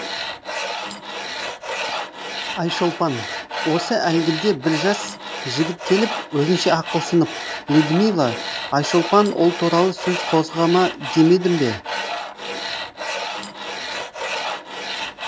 айшолпан осы әлгі бір жас жігіт келіп өзінше ақылсынып людмила айшолпан ол туралы сөз қозғама демедім бе